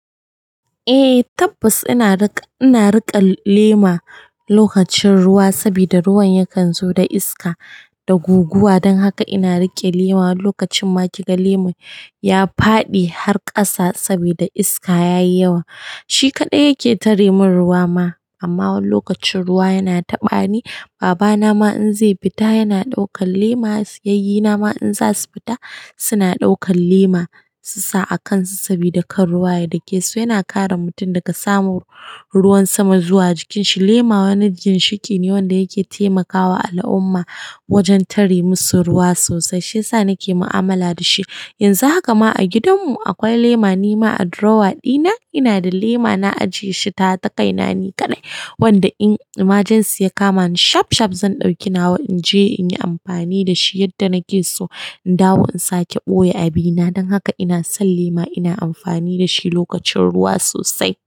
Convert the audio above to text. Eh tabbas ina riƙe lema lokacin ruwa saboda ruwan yakan zo da iska da guguwa. Dan haka ina riƙe lema. Lokacin ma kiga lemon ya faɗi har ƙasa saboda iska yayi yawa. Shi kaɗai yake tare min ruwa ma. Amma wani lokacin ruwa yana taɓa ni. Baba na ma in zai fita yana ɗaukan lema. Yayyena ma in za su fita, suna ɗaukan lema su sa a kan su sabida kar ruwa ya dake su. Yana kare mutum daga samun ruwan sama zuwa jikin shi. Lema wani ginshiƙi ne wanda yake taimakawa al'umma, wajen tare musu ruwa sosai. Shiyasa sa nike mu'amala da shi. Yanzu haka ma a gidan mu akwai lema. Ni ma a drawer dina, ina da lema na ajiye shi. Tawa ta kai na ni kaɗai, wanda in majan siya ka mani shaf-shaf zan ɗauki nawa in je inyi amfani da shi yadda nake so. In dawo in sake ɓoye a bina. Dan haka ina son lema ina amfani da shi lokacin ruwa sosai.